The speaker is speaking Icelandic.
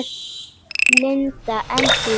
Linda: En þú?